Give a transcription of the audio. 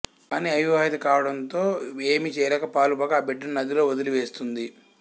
కానీ అవివాహిత కావడంతో ఏమి చేయాలో పాలుపోక ఆ బిడ్డను నదిలో వదిలి వేస్తుంది